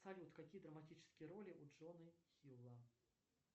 салют какие драматические роли у джоны хилла